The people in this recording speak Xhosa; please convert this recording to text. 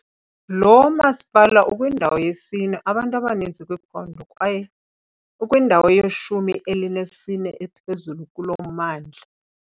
Lo masipala ukwindawo yesine abantu abaninzi kwiphondo kwaye ukwindawo yeshumi elinesine ephezulu kulo mmandla.